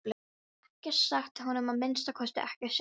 Hún hafði ekkert sagt honum, að minnsta kosti ekkert sérstakt.